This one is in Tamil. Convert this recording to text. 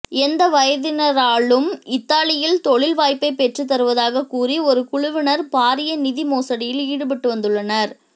எந்த வயதினரானாலும் இத்தாலியில் தொழில் வாய்ப்பை பெற்றுத் தருவதாக கூறி ஒரு குழுவினர் பாரிய நிதி மோசடியில் ஈடுபட்டு வந்துள்ளனர்